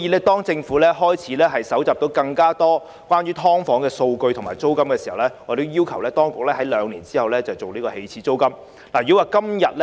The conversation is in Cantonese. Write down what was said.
當政府日後搜集到更多關於"劏房"租金的數據後，我們要求當局在兩年後就訂立起始租金展開工作。